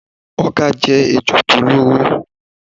Ọká jé ejò tó lóró